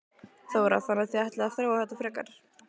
Þóra: Þannig að þið ætlið að þróa þetta frekar?